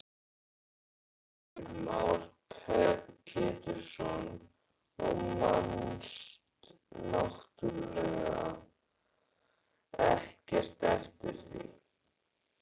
Heimir Már Pétursson: Og manst náttúrulega ekkert eftir því?